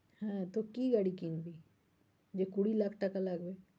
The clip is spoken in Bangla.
হ্যাঁ, তো কি গাড়ি কিনবি? যে কুড়ি লাখ টাকা লাগবে?